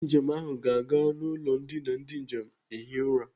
Ndị njem ahụ ga-aga n'ụlọ ndina ndị njem ehi ụra.